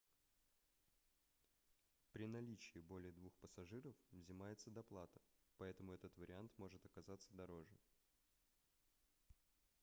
при наличии более двух пассажиров взимается доплата поэтому этот вариант может оказаться дороже